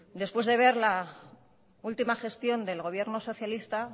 después de ver la última gestión del gobierno socialista